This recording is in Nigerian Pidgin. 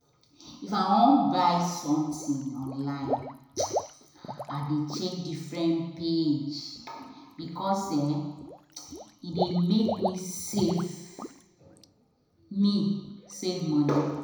if i won buy um something online i dey check different page because e dey make me save me save money